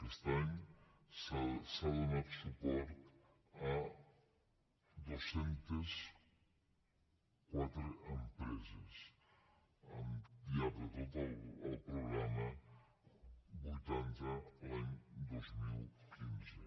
aquest any s’ha donat suport a dos cents i quatre empreses al llarg de tot el programa vuitanta l’any dos mil quinze